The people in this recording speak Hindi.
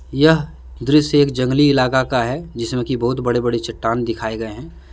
यह दृश्य एक जंगली इलाका का है जिसमे कि बहुत बडे बडे चट्टान दिखाए गए है।